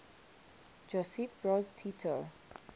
josip broz tito